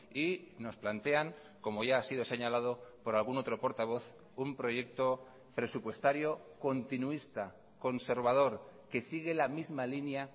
y nos plantean como ya ha sido señalado por algún otro portavoz un proyecto presupuestario continuista conservador que sigue la misma línea